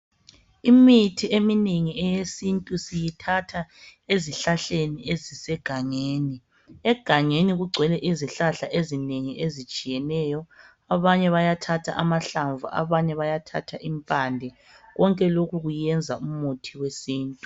Imithi eminengi eyesintu, siyithatha ezihlahleni ezisegangeni. Egangeni kugcwele izihlahla ezitshiyeneyo. Abanye bayathatha amahlamvu. Abanye bayathatha impande. Konke lokhu kuyenza imithi yesintu.